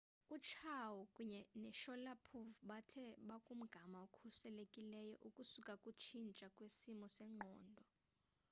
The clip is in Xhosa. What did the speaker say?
uchiao kunye noshalipov bathe bakumgama okhuselekileyo ukusuka kukutshintsha kwesimo sengqondo